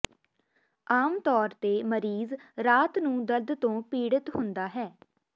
ਆਮ ਤੌਰ ਤੇ ਮਰੀਜ਼ ਰਾਤ ਨੂੰ ਦਰਦ ਤੋਂ ਪੀੜਿਤ ਹੁੰਦਾ ਹੈ